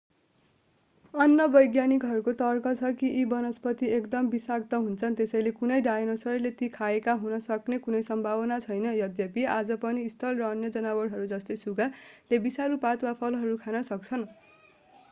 अन्य वैज्ञानिकहरूको तर्क छ कि यी वनस्पति एकदम विषाक्त हुन्छन् त्यसैले कुनै डायनोसरले ती खाएको हुन सक्ने कुनै सम्भावना छैन यद्यपि आज पनि स्लथ र अन्य जनावरहरू जस्तै सुगा डायनोसोरको एक वंशज ले विषालु पात वा फलहरू खान सक्छन्।